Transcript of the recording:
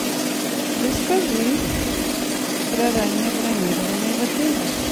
расскажи про раннее бронирование в отеле